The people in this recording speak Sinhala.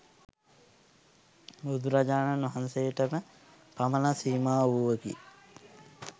බුදුරජාණන් වහන්සේටම පමණක් සීමා වූවකි.